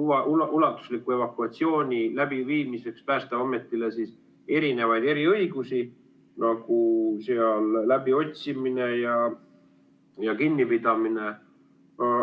ulatusliku evakuatsiooni läbiviimiseks Päästeametile eriõigusi, nagu läbiotsimine ja kinnipidamine.